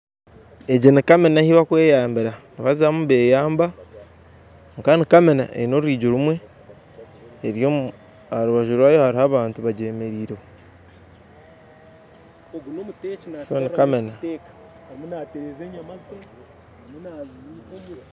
Egi ni kamina ahu barukweyambira nibazamu beyamba kwonka ni kamina eine orwigi rumwe eryomu aharubaju rwayo hariho abantu bagyemereireho so ni kamina.